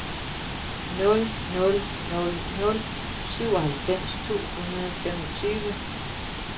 nul nul nul nul syvoghalvfems to hundrede og femogtyve